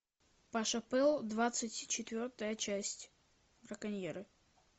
паша пэл двадцать четвертая часть браконьеры